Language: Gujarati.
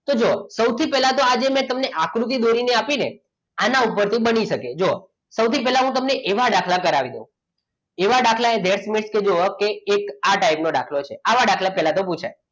તો જુઓ સૌથી પહેલા તો આજે મેં તમને આકૃતિ દોરી ને આપીને આના ઉપરથી બની શકે જુઓ સૌથી પહેલા હું તમને એવા દાખલા કરાવીશ એવા દાખલા જુઓ કે એક આ type નો દાખલો છે આવા દાખલા પહેલા પૂછાય